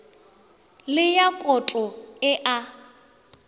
le ya koto e a